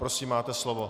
Prosím, máte slovo.